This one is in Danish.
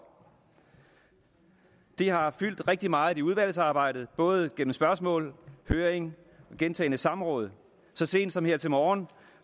det har fyldt rigtig meget i udvalgsarbejdet både gennem spørgsmål høring og gentagne samråd så sent som her til morgen